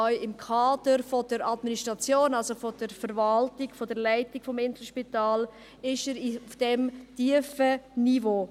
Auch im Kader der Administration, also der Verwaltung, der Leitung des Inselspitals liegt er auf diesem tiefen Niveau.